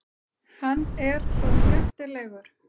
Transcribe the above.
Hann er svo skemmtilegur!